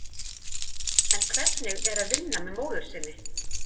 En hvernig er að vinna með móður sinni?